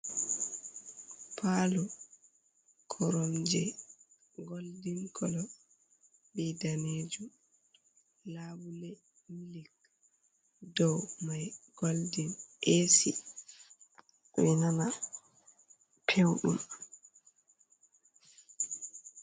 Parlour koronje goldin kolo be danejum, labule milik dow mai goldin, AC ɓe ɗo nana pewɗum.